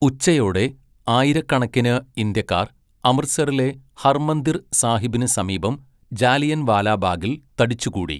ഉച്ചയോടെ ആയിരക്കണക്കിന് ഇന്ത്യക്കാർ അമൃത്സറിലെ ഹർമന്ദിർ സാഹിബിന് സമീപം ജാലിയൻവാലാബാഗിൽ തടിച്ചുകൂടി.